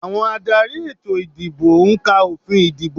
Àwọn adarí ètò ìdìbò ń ka òfin ìdìbò